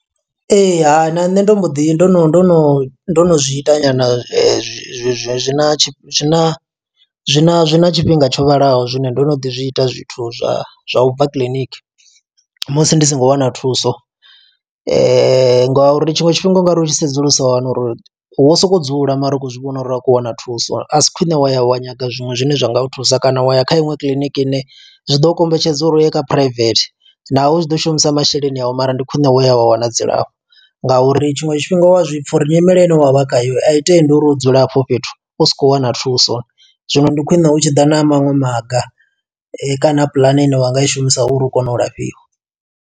Ha, na nṋe ndo mbo ḓi, ndo no ndo no ndo no zwi ita nyana zwina zwina zwina zwina tshifhinga tsho vhalaho, zwine ndo no ḓi zwi ita zwithu zwa zwa ubva kiḽiniki. Musi ndi songo wana thuso, nga uri tshiṅwe tshifhinga u nga ri u tshi sedzulusa wa wana uri, wo sokou dzula mara u khou zwi vhona uri a khou wana thuso. A si khwiṋe wa ya wa nyaga zwiṅwe zwine zwa nga u thusa, kana wa ya kha iṅwe kiḽiniki ine zwi ḓo kombetshedza uri uye kha phuraivethe. Naho u tshi ḓo shumisa masheleni awu, mara ndi khwiṋe wo ya wa wana dzilafho. Nga uri tshiṅwe tshifhinga u wa zwipfa uri nyimele ine wavha khayo, ayi tendi uri u dzula hafho fhethu usa khou wana thuso. Zwino ndi khwiṋe u tshi ḓa na maṅwe maga kana, puḽane ine wanga i shumisa uri u kone u lafhiwa.